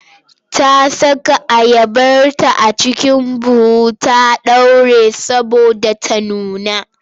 Ta saka ayabarta a cikin buhu ta ɗaure saboda ta nuna.